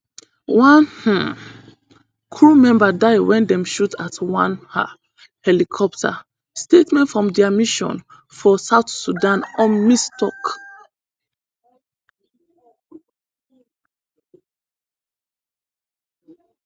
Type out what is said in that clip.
one um crew member die wen dem shoot at one un helicopter statement from dia mission for south sudan unmiss tok